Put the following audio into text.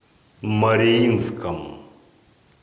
мариинском